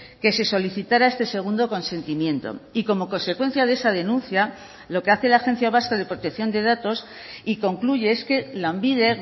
que se solicitara este segundo consentimiento y como consecuencia de esa denuncia lo que hace la agencia vasca de protección de datos y concluye es que lanbide